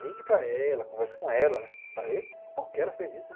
Ligue para ela, converse com ela, né, para ver por que ela fez isso.